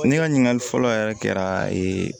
Ne ka ɲininkali fɔlɔ yɛrɛ kɛra ee